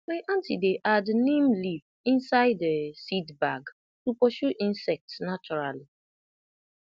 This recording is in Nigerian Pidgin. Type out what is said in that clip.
my aunty dey add neem leaf inside um seed bag to pursue insects naturally